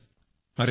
अरे वाह